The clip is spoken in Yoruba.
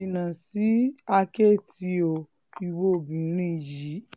jìnnà sí sí àkẹ́tì o ìwo obìnrin yìí